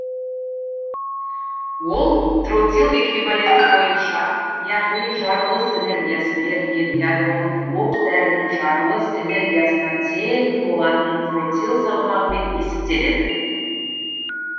ол тротил эквиваленті бойынша яғни жарылыс энергиясы берілген ядролық оқ дәрінің жарылыс энергиясына тең болатын тротил салмағымен есептеледі